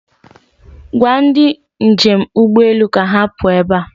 Gwa ndị njem ụgbọelu ka ha pụọ ebe a.